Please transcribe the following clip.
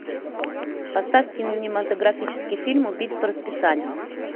поставь кинематографический фильм убить по расписанию